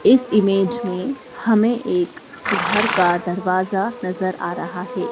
इस इमेज में हमें एक घर का दरवाजा नजर आ रहा है।